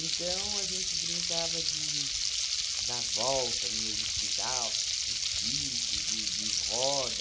a gente brincava de dar a volta no meio do quintal, de pique, de de roda.